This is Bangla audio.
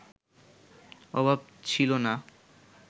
অভাব ছিল না